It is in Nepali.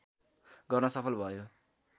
गर्न सफल भयो